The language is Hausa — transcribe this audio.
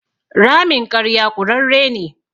Ramin ƙarya ƙurarre ne.